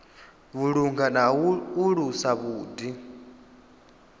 vhulunga na u alusa vhuḓi